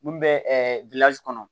Mun bɛ kɔnɔ